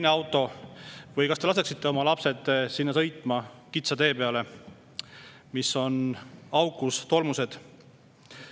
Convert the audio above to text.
Ja kas te üldse laseksite oma lapsed sõitma kitsa tee peale, mis on auke täis ja tolmune?